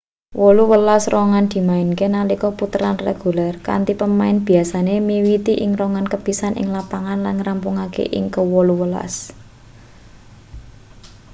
wolu welas rongan dimainke nalika puteran reguler kanthi pemain biasane miwiti ing rongan kepisan ing lapangan lan ngrampungake ing ke wolu welas